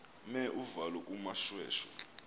mer uvalo kumoshweshwe